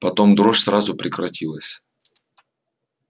потом дрожь сразу прекратилась